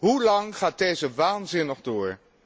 Hoe lang gaat deze waanzin nog door?